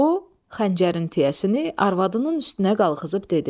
O xəncərin tiyəsini arvadının üstünə qalxızıb dedi: